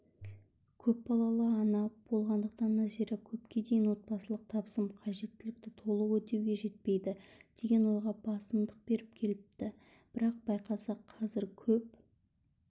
көпбалалы ана болғандықтан назира көпке дейін отбасылық табысым қажеттілікті толық өтеуге жетпейді деген ойға басымдық беріп келіпті бірақ байқаса қазір көп